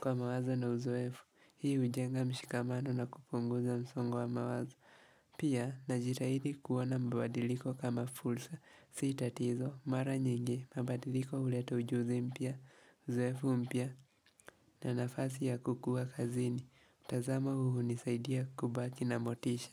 kwa mawazo na uzoefu Hii ujenga mshikamano na kupunguza msongo wa mawazo Pia na jitahidi kuona mabadiriko kama fursa Si tatizo mara nyingi mabadiriko huleta ujuzi mpya Uzoefu mpya na nafasi ya kukua kazini mtazamo huu hunisaidia kubaki na motisha.